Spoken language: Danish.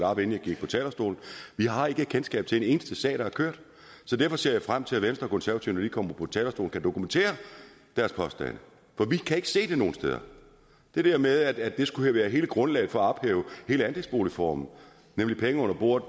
op inden jeg gik på talerstolen vi har ikke kendskab til en eneste sag der er kørt så derfor ser jeg frem til at venstre og konservative når de kommer på talerstolen kan dokumentere deres påstande for vi kan ikke se det nogen steder det der med at det skulle have været hele grundlaget for at ophæve hele andelsboligformen nemlig penge under bordet